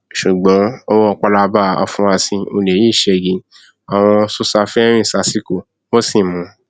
ṣùgbọn ọwọ pálábá àfurasí olè yìí ṣẹgi àwọn sosafe rìn sásìkò wọn sì mú un